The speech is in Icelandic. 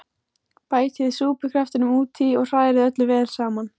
Bætið súpukraftinum út í og hrærið öllu vel saman.